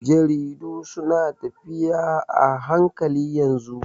Jaridu suna tafiya a hankali yanzu